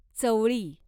चवळी